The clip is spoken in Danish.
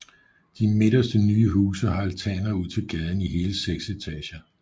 De midterste nye huse har altaner ud til gaden i hele seks etager